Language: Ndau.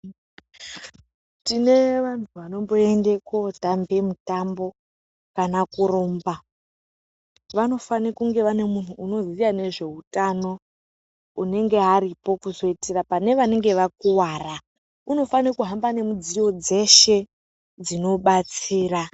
Tine vanhu vanomboende kuotamba mutambo kana kurumba, vanofane kunge vane munhu unoziya nezeutano unenge aripo kuzoitira pane vanenge vakuvara. Unofane kuhamba nemudziyo dzeshe dzinobatsira.